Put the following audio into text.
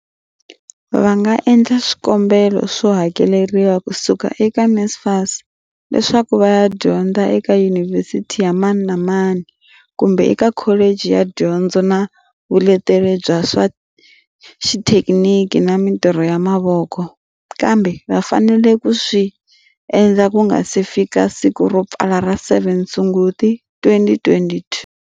Va nga endla swikombelo swo hakeleriwa ku suka eka NSFAS leswaku va ya dyondza eka yunivhesiti ya mani na mani kumbe eka kholichi ya dyondzo na vuleteri bya swa xithekiniki na mitirho ya mavoko kambe va fanele ku swi endla ku nga si fika siku ro pfala ra 7 Sunguti, 2022.